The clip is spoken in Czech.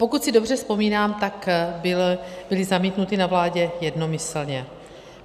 Pokud si dobře vzpomínám, tak byly zamítnuty na vládě jednomyslně.